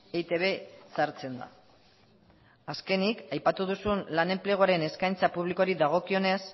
eitb sartzen da azkenik aipatu duzun lan enpleguaren eskaintza publikoari dagokionez